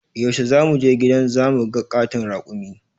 Yaushe za mu je gidan zu mu ga ƙaton raƙumi?